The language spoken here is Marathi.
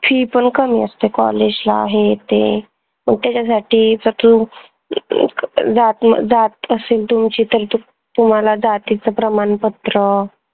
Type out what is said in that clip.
fee पन कमी असते college ला हे ते पन त्याच्यासाठी फक्त अं जात जात असेल तुमची तर तुम्हाला जातीचं प्रमानपत्र